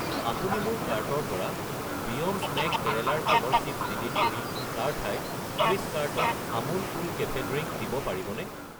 আপুনি মোৰ কাৰ্টৰ পৰা বিয়ণ্ড স্নেক কেৰেলাৰ কলৰ চিপ্ছ ডিলিট কৰি তাৰ ঠাইত 30 carton Amul cool cafe drink দিব পাৰিবনে?